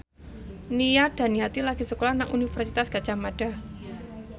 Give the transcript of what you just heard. Nia Daniati lagi sekolah nang Universitas Gadjah Mada